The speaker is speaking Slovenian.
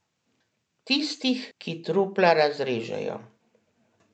Tistih, ki trupla razžrejo.